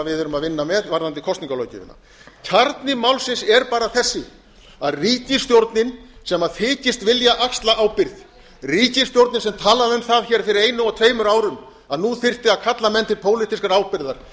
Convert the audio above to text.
við erum að vinna með varðandi kosningalöggjöfina kjarni málsins er bara þessi að ríkisstjórnin sem þykist vilja axla ábyrgð ríkisstjórnin sem talaði um það hér fyrir einu og tveimur árum að nú þyrfti að kalla menn til pólitískrar ábyrgðar